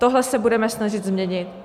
Tohle se budeme snažit změnit.